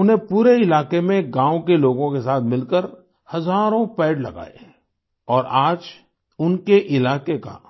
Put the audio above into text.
उन्होंने पूरे इलाके में गाँव के लोगों के साथ मिलकर हजारों पेड़ लगाए और आज उनके इलाके का